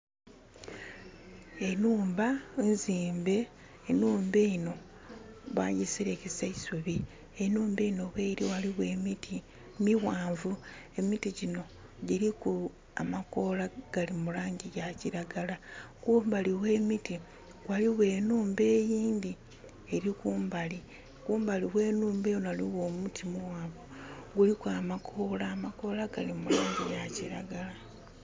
Enhumba izimbe. Enhumba eno bajiserekesa eisubi. Enhumba eno weri waliwo emiti miwanvu. Emiti gino giriku amakoola gali mu langi eya kiragala. Kumbali we emiti waliwo enhumba eyindi eri kumbali. Kumbali we nhumba eno waliwo omuti muwanvu. Guliku amakoola. Amakoola gali mulangi ya kiragala